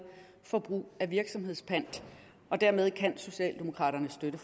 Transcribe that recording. for brug af virksomhedspant dermed kan socialdemokraterne støtte